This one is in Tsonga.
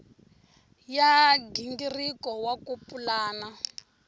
ya nghingiriko wa ku pulana